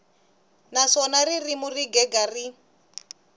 naswona ririmi ro gega ri